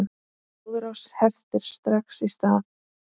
Blóðrás heftir strax í stað.